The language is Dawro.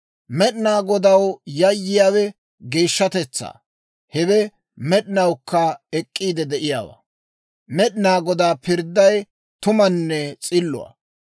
Med'inaa Godaw yayyiyaawe geeshshatetsaa; hewe med'inawukka ek'k'iid de'iyaawaa. Med'inaa Godaa pirdday tumanne s'illuwaa.